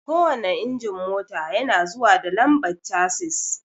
Kowanne injin mota yana zuwa da lambar chasis